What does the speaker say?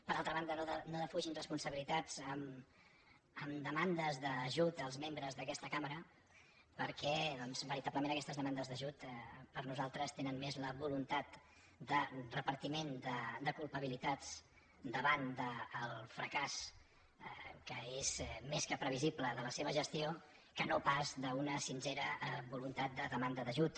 per altra banda no defugin responsabilitats amb demandes d’ajut als membres d’aquesta cambra perquè veritablement doncs aquestes demandes d’ajut per nosaltres tenen més la voluntat de repartiment de culpa bilitats davant del fracàs que és més que previsible de la seva gestió que no pas d’una sincera voluntat de demanda d’ajut